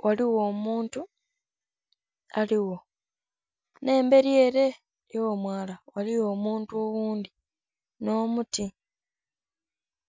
ghaligho omuntu aliwo, nh'embeli ele y'omwala ghaligho omuntu oghundhi nh'omuti.